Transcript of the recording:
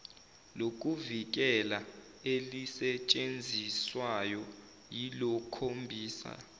lokuvikela elisetshenziswayo liyokhombisa